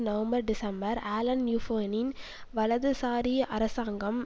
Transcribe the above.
November December Alain யூப்பேயின் வலதுசாரி அரசாங்கம்